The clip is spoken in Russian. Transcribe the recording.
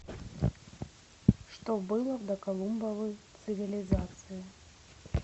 что было в доколумбовы цивилизации